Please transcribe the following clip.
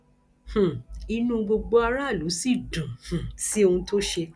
um inú gbogbo aráàlú sì dùn um sí ohun tó ṣe